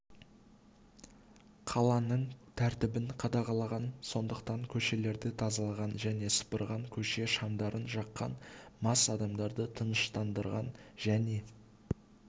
қаланың тәртібін қадағалаған сондықтан көшелерді тазалаған және сыпырған көше шамдарын жаққан мас адамдарды тыныштандырған және